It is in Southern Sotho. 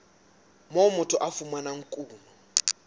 moo motho a fumanang kuno